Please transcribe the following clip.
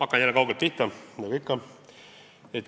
Hakkan jälle kaugelt pihta nagu ikka.